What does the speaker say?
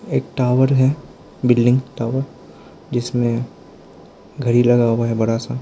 एक टावर है building tower जिसमें घड़ी लगा हुआ है बड़ा सा।